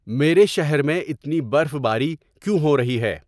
میرے شہر میں اتنی برف باری کیوں ہو رہی ہے